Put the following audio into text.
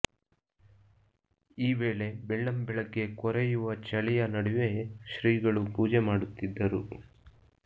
ಈ ವೇಳೆ ಬೆಳ್ಳಂಬೆಳಗ್ಗೆ ಕೊರತೆಯುವ ಚಳಿಯ ನಡುವೆ ಶ್ರೀಗಳು ಪೂಜೆ ಮಾಡುತ್ತಿದ್ದರು